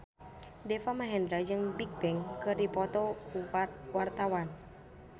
Deva Mahendra jeung Bigbang keur dipoto ku wartawan